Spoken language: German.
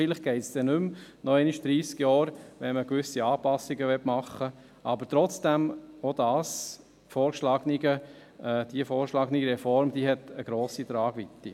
Vielleicht geht es dann nicht noch einmal dreissig Jahre, wenn man gewisse Anpassungen machen möchte, aber trotzdem: Auch die vorgeschlagene Reform hat eine grosse Tragweite.